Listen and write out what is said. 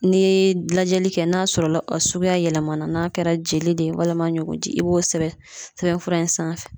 N'i ye lajɛli kɛ n'a sɔrɔ la a suguya yɛlɛmana n'a kɛra jeli de ye walima ɲugu ji i b'o sɛbɛn sɛbɛn fura in sanfɛ